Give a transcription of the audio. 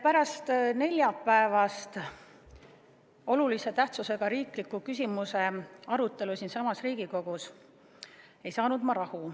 Pärast neljapäevast olulise tähtsusega riikliku küsimuse arutelu siinsamas Riigikogus ei saanud ma rahu.